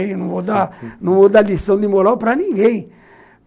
E eu não vou dar não vou dar lição de moral para ninguém.